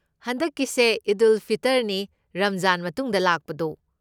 ꯍꯟꯗꯛꯀꯤꯁꯦ ꯏꯗ ꯎꯜ ꯐꯤꯇꯔꯅꯤ, ꯔꯝꯖꯥꯟ ꯃꯇꯨꯡꯗ ꯂꯥꯛꯄꯗꯣ꯫